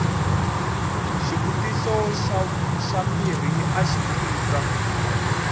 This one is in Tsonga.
xivutiso xa mbirhi axi tika